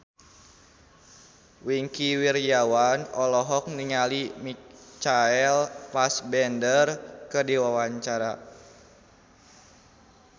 Wingky Wiryawan olohok ningali Michael Fassbender keur diwawancara